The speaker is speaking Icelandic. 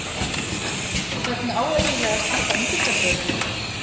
Hvernig á eiginlega að standa undir þessu öllu?